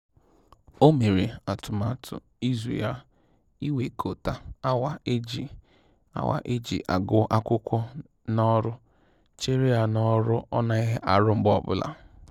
O mere atụmatụ izu ya ịwekọta awa eji awa eji agụ akwụkwọ na ọrụ cheere ya n'ọrụ ọ naghị arụ mgbe ọ bụla